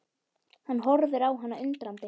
Hann horfir á hana undrandi.